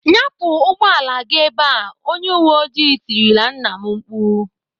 "Nyapụ ụgbọala gị ebe!" Onye uwe oji tirile nna m mkpu.